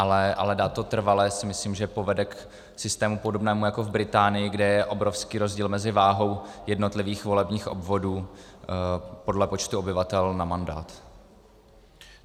Ale dát to trvale si myslím, že povede k systému podobnému jako v Británii, kde je obrovský rozdíl mezi váhou jednotlivých volebních obvodů podle počtu obyvatel na mandát.